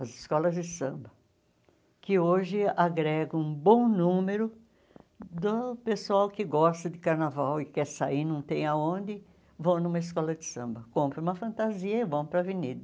As escolas de samba, que hoje agregam um bom número do pessoal que gosta de carnaval e quer sair, não tem aonde, vão numa escola de samba, compram uma fantasia e vão para a avenida.